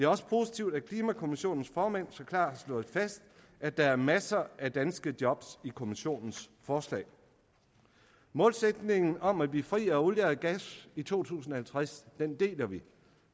også positivt at klimakommissionens formand så klart har slået fast at der er masser af danske job i kommissionens forslag målsætningen om at blive fri af olie og gas i to tusind og halvtreds deler vi